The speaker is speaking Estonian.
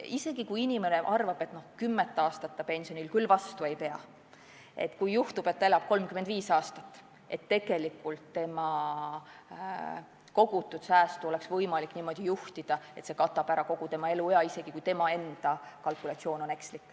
Isegi kui inimene arvab, et kümmet aastat ta pensionil olles küll vastu ei pea, aga juhtub nii, et ta elab 35 aastat, siis on tema kogutud säästu kasutamist võimalik niimoodi juhtida, et see katab ära kogu tema eluea, isegi kui tema enda kalkulatsioon on ekslik.